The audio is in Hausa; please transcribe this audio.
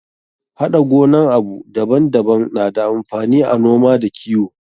Haɗa gonan abu daban daban na da amfani a noma da kiwo.